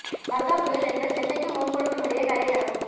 வர்தா புயல் இன்று சென்னைக்கும் ஓங்கோலுக்கும் இடையே கரையைக் கடக்கும்